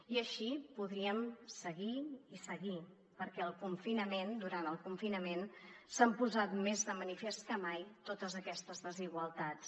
i així podríem seguir i seguir perquè durant el confinament s’han posat més de manifest que mai totes aquestes desigualtats